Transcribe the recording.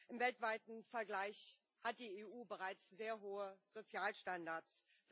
Im weltweiten Vergleich hat die EU bereits sehr hohe Sozialstandards.